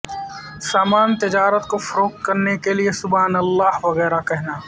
سامان تجارت کو فروخت کرنے کے لئے سبحان اللہ وغیرہ کہنا